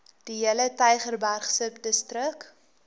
diehele tygerberg subdistrik